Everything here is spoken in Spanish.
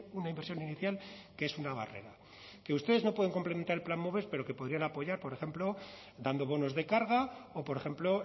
una inversión inicial que es una barrera que ustedes no pueden complementar el plan moves pero que podrían apoyar por ejemplo dando bonos de carga o por ejemplo